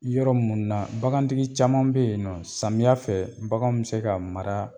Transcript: Yɔrɔ mun na bagantigi caman be yen nɔ samiya fɛ baganw be se ka mara